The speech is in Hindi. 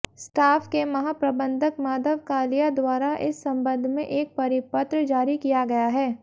स्टाफ के महाप्रबंधक माधव कालिया द्वारा इस संबंध में एक परिपत्र जारी किया गया है